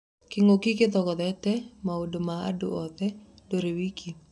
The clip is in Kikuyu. Kĩng'ũki gĩthogete waũndũ ma andũ othe; ndũrĩ wiiki.